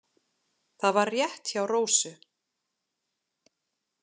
Það var rétt hjá Rósu.